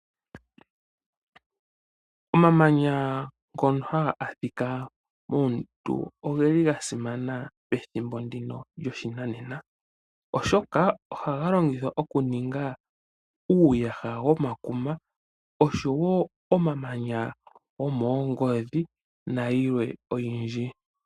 Omamanya ngono haga adhika moondundu oga simana pethimbo ndika lyoshinanena, oshoka ohaga longithwa okuninga uuyaha womakuma, oshowo omamanya gomoongodhi nayilwe oyindji.